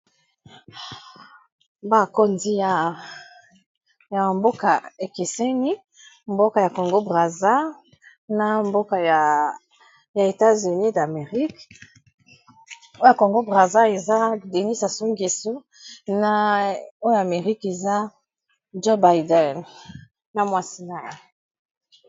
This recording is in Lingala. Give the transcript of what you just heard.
Bakonzi ya mboka ekeseni mboka ya Congo Brazza na mboka ya etats-unis damerik oyo ya Congo Brazza eza Dénis Sassou Ngeso na oyo amerika eza Jobïden na mwasi na ye.